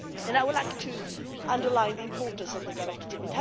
I would like to underline the importance of the directive.